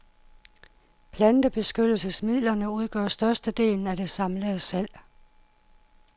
Plantebeskyttelsesmidlerne udgør størstedelen af det samlede salg.